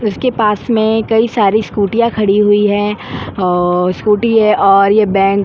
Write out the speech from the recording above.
उसके पास में कई सारी स्कूटियां खड़ी हुई है और स्कूटी है और ये बैंक --